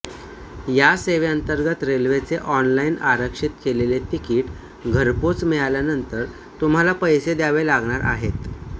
या सेवेतंर्गत रेल्वेचे ऑनलाईन आरक्षित केलेले तिकीट घरपोच मिळाल्यानंतर तुम्हाला पैसे द्यावे लागणार आहेत